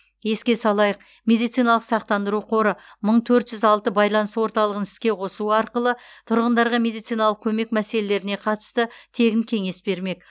еске салайық медициналық сақтандыру қоры мың төрт жүз алты байланыс орталығын іске қосу арқылы тұрғындарға медициналық көмек мәселелеріне қатысты тегін кеңес бермек